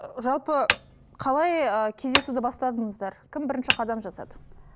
ы жалпы қалай ы кездесуді бастадыңыздар кім бірінші қадам жасады